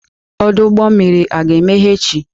Ọdụ ụgbọ mmiri aga-emeghe echi?